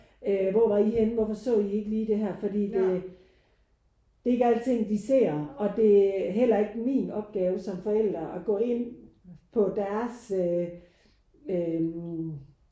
Øh hvor vi I henne? Hvorfor så I ikke lige det her? Fordi det det er ikke alle ting de ser og det er heller ikke min opgave som forældre at gå ind på deres øh øh